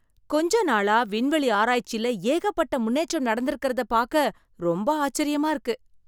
கொஞ்ச நாளா, விண்வெளி ஆராய்ச்சில ஏகப்பட்ட முன்னேற்றம் நடந்திருக்கறத பாக்க ரொம்ப ஆச்சரியமா இருக்கு.